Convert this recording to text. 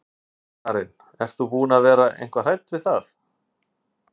Karen: Ert þú búin að vera eitthvað hrædd við það?